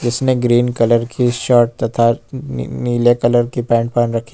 इसमें green colour की shirt तथा नीले कलर की पैंट पहन रखी --